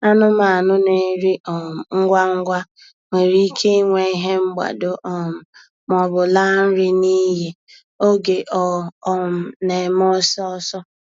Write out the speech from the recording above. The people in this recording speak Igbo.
Anụmanụ na-eri um ngwa ngwa nwere ike inwe ihe mgbado um maọbụ laa nri n'iyi oge ọ um na-eme ọsọ ọsọ.